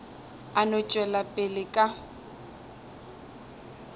a no tšwela pele ka